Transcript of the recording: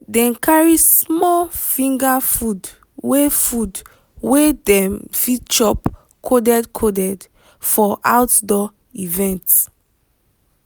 dem carry small finger food wey food wey dem fit chop coded coded for outdoor event.